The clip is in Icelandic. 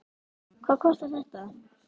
Hvað kostar þetta?